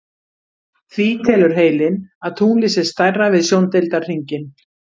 Því telur heilinn að tunglið sé stærra við sjóndeildarhringinn.